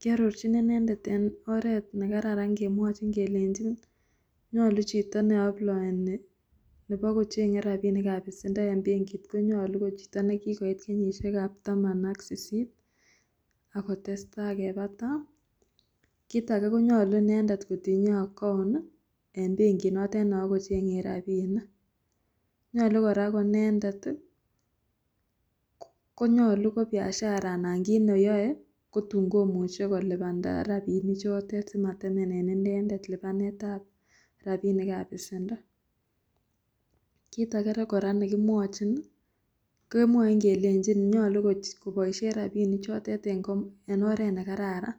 Kiarorchin inendet eng' oret ne kararan kemwachin kelenjin, nyolu chito ne aployeni nebo kocheng'e rabinik ab besendo eng' benkit konyalu ko chito ne kigoit kenyishekab taman ak sisit akotestai. Kebata, kit age konyalu inendet kotinye account eng' benki notok no kocheng'e rabinik. Nyolu kora konendet ii ko nyolu ko biashara anan kit neyoe kotun komuche kolipanda rabinik chotet simatemene inendet lipanetab rabinik ab besendo. Kit agere kora ne kimwachin ii, kemwain kelenjin nyolu koch koboisie rabinik chotet eng' oret ne kararan